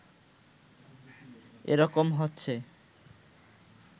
এরকম হচ্ছে